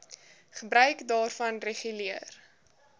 gebruik daarvan reguleer